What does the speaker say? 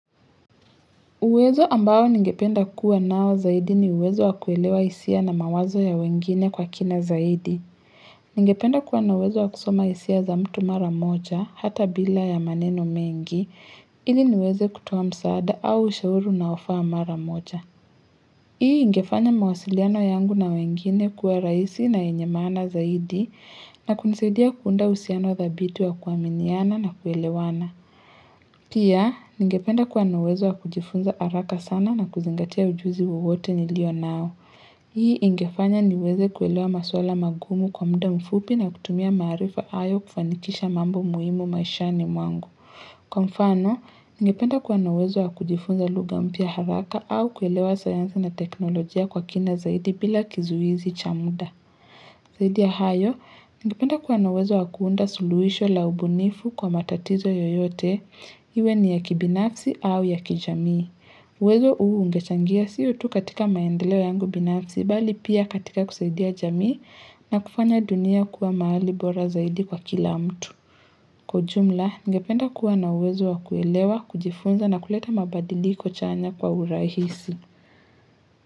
Uwezo ambao ningependa kuwa nao zaidi ni uwezo wa kuelewa hisia na mawazo ya wengine kwa kina zaidi. Ningependa kuwa na uwezo wa kusoma hisia za mtu mara moja, hata bila ya maneno mengi, ili niweze kutoa msaada au ushauru unaofaa mara moja. Hii ingefanya mawasiliano yangu na wengine kuwa raisi na yenye maana zaidi na kunisaudia kuunda uhusiano dhabiti wa kuaminiana na kuelewana. Pia, ningependa kuwa na uwezo wa kujifunza haraka sana na kuzingatia ujuzi wowote nilio nao. Hii ingefanya niweze kuelewa maswala magumu kwa mda mfupi na kutumia maarifa hayo kufanikisha mambo muhimu maishani mwangu. Kwa mfano, ningependa kuwa na uwezo wa kujifunza lugha mpya haraka au kuelewa sayansi na teknolojia kwa kina zaidi pila kizuizi cha muda. Zaidi ya hayo, ningependa kuwa na uwezo wakuunda suluhisho la ubunifu kwa matatizo yoyote, iwe ni ya kibinafsi au ya kijamii. Uwezo huu ungechangia sio tu katika maendeleo yangu binafsi, bali pia katika kusaidia jamii na kufanya dunia kuwa mahali bora zaidi kwa kila mtu. Kwa jumla, ningependa kuwa na uwezo wakuelewa, kujifunza na kuleta mabadiliko chanya kwa urahisi.